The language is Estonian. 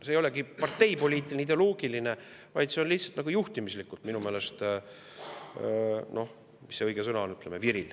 See ei olegi parteipoliitiline, ideoloogiline, vaid see on lihtsalt nagu juhtimislikult minu meelest – mis see õige sõna on?